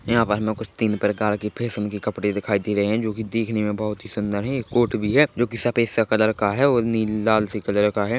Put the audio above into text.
यहाँ पर हमें कुछ तीन प्रकार के फैशन के कपड़े दिखाई दे रहे हैं जो की दिखने में बहुत ही सुंदर है एक कोर्ट भी है जो की सफेद सा कलर का है और नी ल लाल से कलर का है।